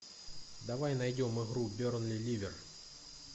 давай найдем игру бернли ливер